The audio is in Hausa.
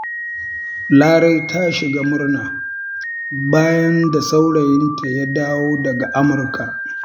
Larai ta shiga murna, bayan da saurayinta ya dawo daga Amurka.